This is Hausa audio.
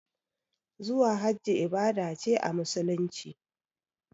Zuwa hajji ibada ce a musulunci